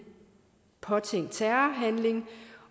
påtænkt terrorhandling